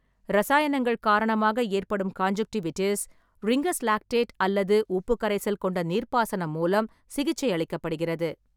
இரசாயனங்கள் காரணமாக ஏற்படும் கான்ஜுன்க்டிவிடிஸ், ரிங்கர்ஸ் லாக்டேட் அல்லது உப்பு கரைசல் கொண்ட நீர்ப்பாசனம் மூலம் சிகிச்சையளிக்கப்படுகிறது.